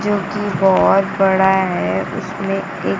जो कि बहुत बड़ा है उसमें एक--